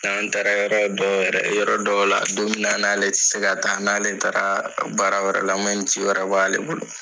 N'an taara yɔrɔ dɔw yɛrɛ , yɔrɔ dɔw la don min na n'ale ti se ka taa n'ale taara baara wɛrɛ la ni ci wɛrɛ b'ale bolo